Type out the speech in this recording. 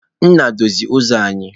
Nna, dozie uzo anyi!